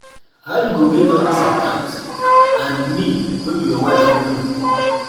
How you go get all dis account and me wey be your wife no know